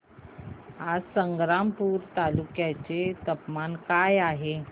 आज संग्रामपूर तालुक्या चे तापमान काय आहे